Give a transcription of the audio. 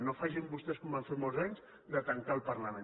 no facin vostès com van fer fa molts anys tancar el parlament